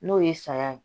N'o ye saya ye